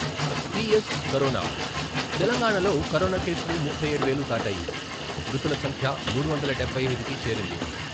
T. S corona తెలంగాణాలో corona కేసులు ముప్పై ఏడు వేలు దాటాయి. మృతుల సంఖ్య మూడు వందల డెభై ఐదుకి చేరింది